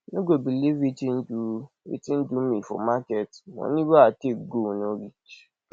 you no go believe wetin do wetin do me for market money wey i take go no reach